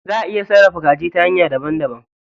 Zaʼa iya sarrafa kaji ta hanya daban daban.